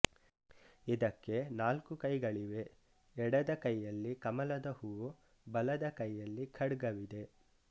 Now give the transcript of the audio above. ಇದಕ್ಕೆ ನಾಲ್ಕು ಕೈಗಳಿವೆ ಎಡದ ಕೈಯಲ್ಲಿ ಕಮಲದ ಹೂ ಬಲದ ಕೈಯಲ್ಲಿ ಖಡ್ಗವಿದೆ